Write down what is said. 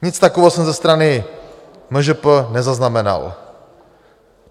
Nic takového jsem ze strany MŽP nezaznamenal.